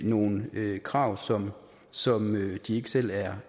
nogle krav som som de ikke selv er